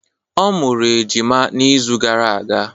Ọ mụrụ ejima n'izu uka gara aga.